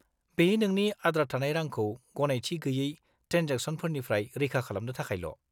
-बेयो नोंनि आद्रा थानाय रांखौ गनायथि गैयै ट्रेन्जेकसनफोरनिफ्राय रैखा खालामनो थाखायल'।